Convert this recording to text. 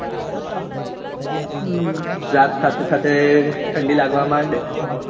હમ રાત સાથે સાથે ઠંડી લાગવા માંડે